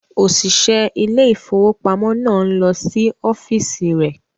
Òṣìṣẹ́ ilé ìfowópamọ́ náà ń lọ sí ọ́fíìsì rẹ̀.